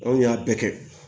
Anw y'a bɛɛ kɛ